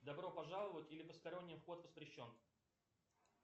добро пожаловать или посторонним вход воспрещен